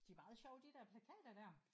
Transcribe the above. De er meget sjove de der plakater der